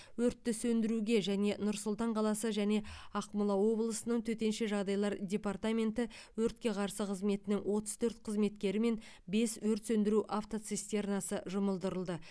өртті сөндіруге және нұр сұлтан қаласы және ақмола облысы төтенше жағдайлар департаменті өртке қарсы қызметінің отыз төрт қызметкері мен бес өрт сөндіру автоцистернасы жұмылдырылды